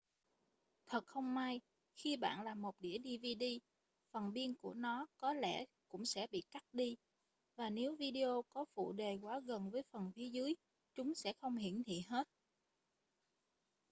thật không may khi bạn làm một đĩa dvd phần biên của nó có lẽ cũng sẽ bị cắt đi và nếu video có phụ đề quá gần với phần phía dưới chúng sẽ không hiển thị hết